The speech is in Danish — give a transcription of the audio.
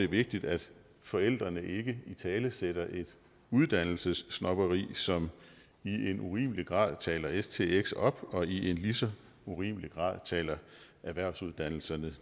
vigtigt at forældrene ikke italesætter et uddannelsessnobberi som i en urimelig grad taler stx op og i en lige så urimelig grad taler erhvervsuddannelserne